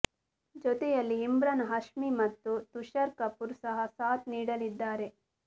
ಜೊತೆಯಲ್ಲಿ ಇಮ್ರಾನ್ ಹಷ್ಮಿ ಮತ್ತು ತುಷಾರ್ ಕಪೂರ್ ಸಹ ಸಾಥ್ ನೀಡಲಿದ್ದಾರೆ